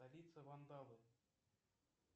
столица ван давы